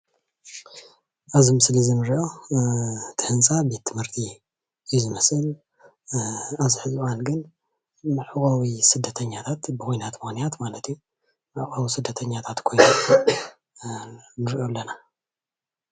ኣብዚ ምስሊ እንሪኦ እቲ ህንፃ ቤት ትምህርት እዩ ዝመስል ኣብዚ ሕዚ እዋን ግን መዕቆቢ ስደተኛታት ብኩናት ምክንያት ማለት እዩ መዕቆቢ ስደተኛታት ኮይኑ ንሪኦ ኣለና፡፡